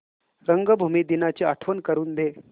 रंगभूमी दिनाची आठवण करून दे